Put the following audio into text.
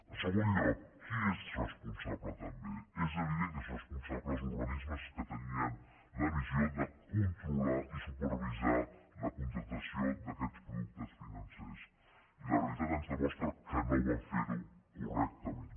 en segon lloc qui n’és responsable també és evident que en són responsables els organismes que tenien la missió de controlar i supervisar la contractació d’aquests productes financers i la realitat ens demostra que no van fer ho correctament